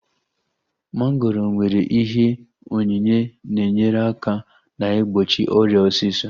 Mongoro nwere ihe onyinye na-enyere aka na-igbochi ọrịa osisọ